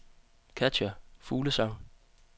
Katja Fuglsang